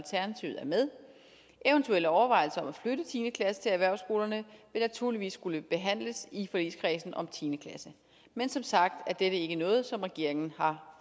med eventuelle overvejelser om at flytte tiende klasse til erhvervsskolerne vil naturligvis skulle behandles i forligskredsen om tiende klasse men som sagt er det ikke noget som regeringen har